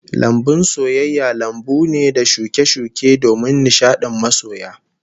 Lambun soyayya lambu ne da shuke-shuke domin nishadin masoya